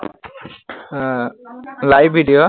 এৰ live video